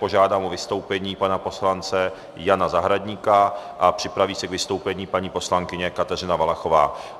Požádám o vystoupení pana poslance Jana Zahradníka a připraví se k vystoupení paní poslankyně Kateřina Valachová.